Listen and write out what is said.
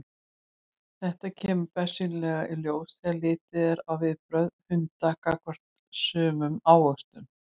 Þetta kemur bersýnilega í ljós þegar litið er á viðbrögð hunda gagnvart sumum ávöxtum.